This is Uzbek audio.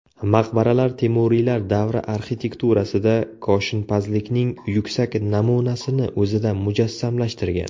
Maqbaralar Temuriylar davri arxitekturasida koshinpazlikning yuksak namunasini o‘zida mujassamlashtirgan.